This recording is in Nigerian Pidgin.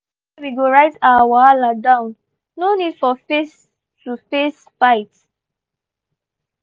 we gree say we go write our wahala down no need for face-to-face fight.